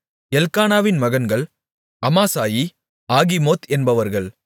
எல்க்கானாவின் மகன்கள் அமாசாயி ஆகிமோத் என்பவர்கள்